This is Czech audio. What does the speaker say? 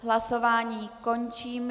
Hlasování končím.